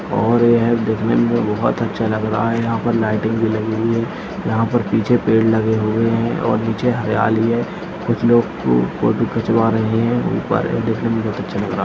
और यह है दिखने में बहुत अच्छा लग रहा है यहाँ पर लाइटिंग में लगी हुई है यहाँ पर पीछे पेड़ लगे हुए हैं और नीचे हरियाली है कुछ लोग फोटो खिंचवा रहे हैं ऊपर देखने में बहुत अच्छा लग रहा--